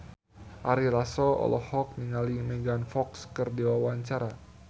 Ari Lasso olohok ningali Megan Fox keur diwawancara